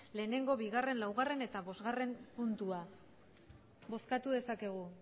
bat bi laugarrena eta bostgarrena puntuak bozkatu dezakegu